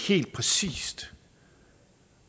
helt præcist